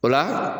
O la